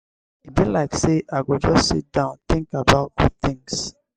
e be like sey i go just sit down tink about good tins.